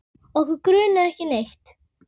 Okkur grunar ekki neitt.